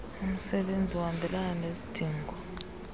umsebenzi ohambelana nezidingo